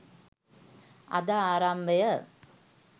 අද ආරම්භය